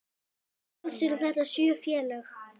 Alls eru þetta sjö félög.